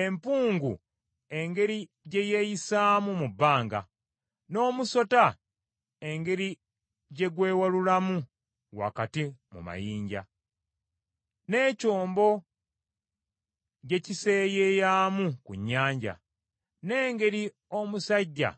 Empungu engeri gye yeeyisaamu mu bbanga, n’omusota engeri gye gwewalulamu wakati mu mayinja, n’ekyombo gye kiseeyeeyamu ku nnyanja, n’engeri omusajja